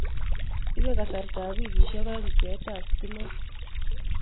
Ibee kasartaab wikisyek aeng� bcheetaab sitimeet